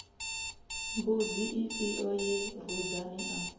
mbudzi ifhio ye rudzani a